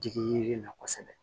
Jigin yiri na kosɛbɛ